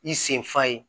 I senfa ye